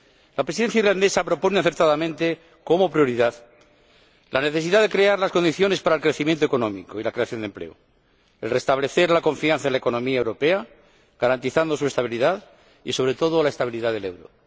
La Presidencia irlandesa propone acertadamente como prioridad la necesidad de crear las condiciones para el crecimiento económico y la creación de empleo y el restablecimiento de la confianza en la economía europea, garantizando su estabilidad y, sobre todo, la estabilidad del euro.